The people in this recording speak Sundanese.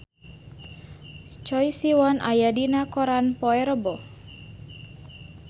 Choi Siwon aya dina koran poe Rebo